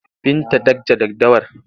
Binta dakja daddawar!